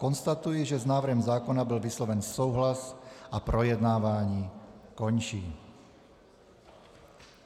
Konstatuji, že s návrhem zákona byl vysloven souhlas, a projednávání končím.